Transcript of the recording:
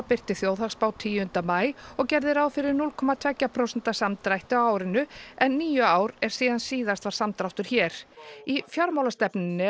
birti þjóðhagsspá tíunda maí og gerði ráð fyrir núll komma tveggja prósenta samdrætti á árinu en níu ár eru síðan síðast var samdráttur hér í fjármálastefnunni